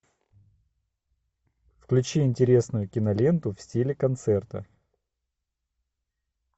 включи интересную киноленту в стиле концерта